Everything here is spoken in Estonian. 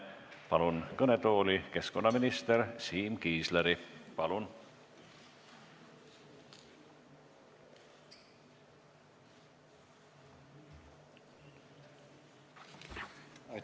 Palun kõnetooli keskkonnaminister Siim Kiisleri!